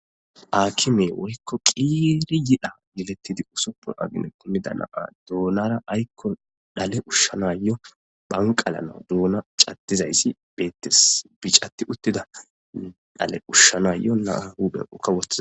Aakime worikko qiiri yidha yelettidi usoppo agine kunnida naa duunara aykko dhale ushshanayo banqalana duuna cattizayssi beettes bicatti uttida dhale ushshanayyo naa huphenkawotha.